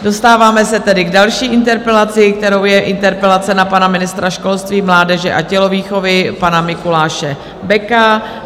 Dostáváme se tedy k další interpelaci, kterou je interpelace na pana ministra školství, mládeže a tělovýchovy pana Mikuláše Beka.